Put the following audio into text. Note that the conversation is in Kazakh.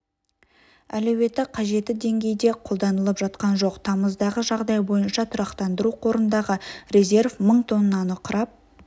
әлеуеті қажеті деңгейде қолданылып жатқан жоқ тамыздағы жағдай бойынша тұрақтандыру қорындағы резерв мың тоннаны құрап